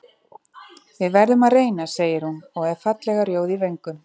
Við verðum að reyna, segir hún og er fallega rjóð í vöngum.